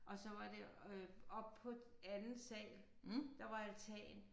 Og så var det øh oppe på anden sal der var altan